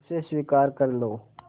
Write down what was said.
उसे स्वीकार कर लो